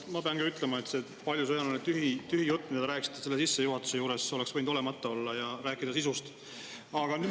No ma pean ka ütlema, et see paljusõnaline tühi jutt, mida te rääkisite sissejuhatuse juures, oleks võinud olemata olla ja rääkida sisust.